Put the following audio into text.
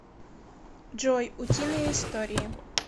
джой утиные истории